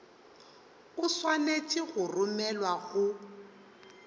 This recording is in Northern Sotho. o swanetše go romelwa go